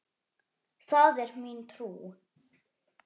Það er mín trú.